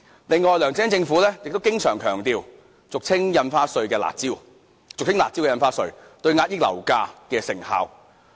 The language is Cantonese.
此外，梁振英政府經常強調俗稱"辣招"的印花稅，對遏抑樓價的成效。